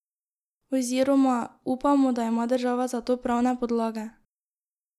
Oziroma: 'Upamo, da ima država za to pravne podlage.